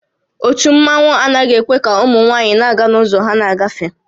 Ótú mmanwu anaghị ekwe ka ụmụ nwaanyị na-aga n'ụzọ ha na-agafe